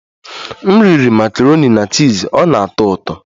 M riri makaroni na chiz, ọ na-atọ ụtọ